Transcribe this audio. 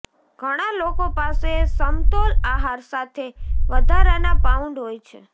ઘણા લોકો પાસે સમતોલ આહાર સાથે વધારાના પાઉન્ડ હોય છે